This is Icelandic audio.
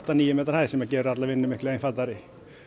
níu metra hæð sem gerir alla vinnu miklu einfaldari